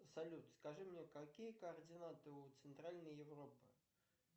салют скажи мне какие координаты у центральной европы